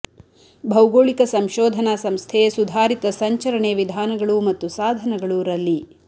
ಭೌಗೋಳಿಕ ಸಂಶೋಧನಾ ಸಂಸ್ಥೆ ಸುಧಾರಿತ ಸಂಚರಣೆ ವಿಧಾನಗಳು ಮತ್ತು ಸಾಧನಗಳು ರಲ್ಲಿ